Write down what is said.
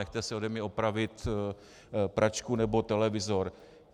Nechte si ode mě opravit pračku nebo televizor.